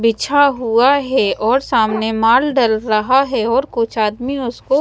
बिछा हुआ है और सामने माल डल रहा है और कुछ आदमी उसको--